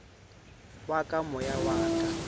wa ka moya wa ka